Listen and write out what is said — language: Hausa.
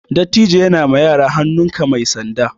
Dattijo ya na ma yara hannun ka mai sanda